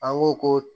An ko ko